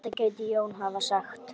Þetta gæti Jón hafa sagt.